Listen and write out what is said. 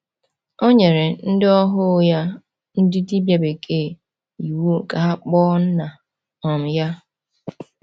O nyere “ndị ohu ya, ndị dibia bekee, iwu ka ha kpoo nna um ya.”